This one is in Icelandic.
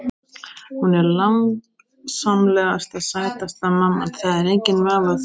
Hún er langsamlega sætasta mamman, það er enginn vafi á því.